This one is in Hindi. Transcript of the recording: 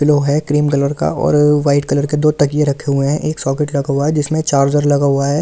लो है क्रीम कलर का और वाइट कलर के दो तकिए रखे हुए हैं एक सॉकेट लगा हुआ है जिसमें चार्जर लगा हुआ है।